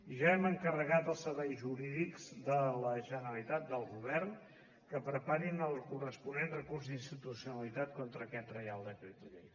ja hem encarregat als serveis jurídics de la generalitat del govern que preparin el corresponent recurs d’inconstitucionalitat contra aquest reial decret llei